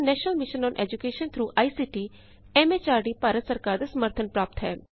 ਇਸਨੂੰ national mission on education through I C T M H R D Bharat ਸਰਕਾਰ ਦਾ ਸਮਰਥਨ ਪ੍ਰਾਪਤ ਹੈ